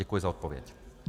Děkuji za odpověď.